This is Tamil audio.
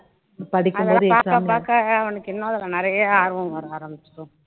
அதெல்லாம் பாக்க பாக்க அவனுக்கு இன்னும் அதுல நிறைய ஆர்வம் வர ஆரம்பிச்சுடும்